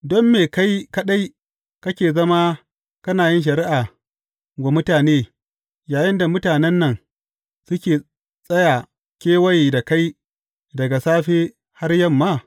Don me kai kaɗai kake zama kana yin shari’a wa mutane, yayinda mutanen nan suke tsaya kewaye da kai daga safe har yamma?